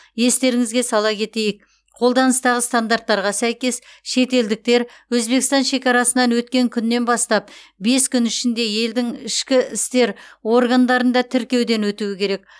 естеріңізге сала кетейік қолданыстағы стандарттарға сәйкес шетелдіктер өзбекстан шекарасынан өткен күннен бастап бес күн ішінде елдің ішкі істер органдарында тіркеуден өтуі керек